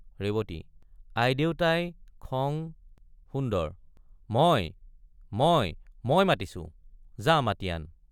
ৰেৱতী—আইদেউতাই খং— সুন্দৰ— মই—মই—মই মাতিছো—যা মাতি আন।